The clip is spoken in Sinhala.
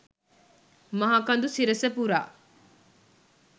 මහ කඳු සිරස පුරා